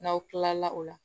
N'aw kilala o la